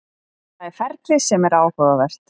Það er ferlið sem er áhugavert.